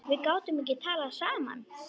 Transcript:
Við gátum ekki talað saman.